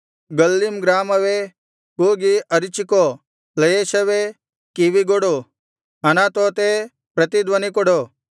ಗಲ್ಲೀಮ್ ಗ್ರಾಮವೇ ಕೂಗಿ ಅರಚಿಕೋ ಲಯೆಷವೇ ಕಿವಿಗೊಡು ಅನಾತೋತೇ ಪ್ರತಿಧ್ವನಿ ಕೊಡು